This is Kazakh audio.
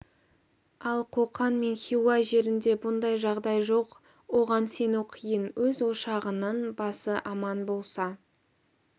ал қоқан мен хиуа жерінде бұндай жағдай жоқ оған сену қиын өз ошағының басы аман болса